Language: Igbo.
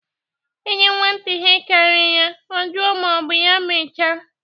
Enye nwata ihe karịrị ya, ọ juo ma ọ bụ ya nwecha.